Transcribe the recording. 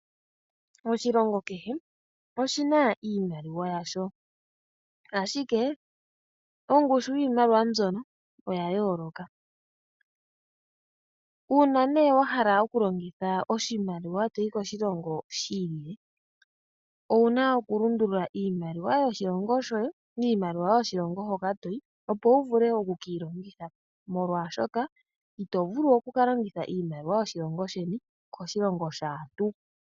Oshilongo kehe oshina iimaliwa yasho, ashike ongushu yiimaliwa mbyono oya yooloka. Uuna wa hala oku longitha oshimaliwa to yi koshilongo shi ili, owu na oku lundulula iimaliwa yoshilongo shoye molwaashoka ito vulu okuka longitha iimaliwa yoshilongo sheni koshilongo shaantu.